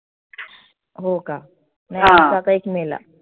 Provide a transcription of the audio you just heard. हो का? मे ला.